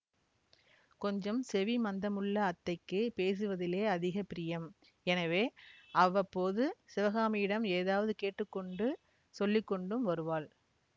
கொஞ்சம் செவிமந்தமுள்ள அத்தைக்குப் பேசுவதிலே அதிக பிரியம் எனவே அவ்வப்போது சிவகாமியிடம் ஏதாவது கேட்டு கொண்டு சொல்லிக்கொண்டும் வருவாள்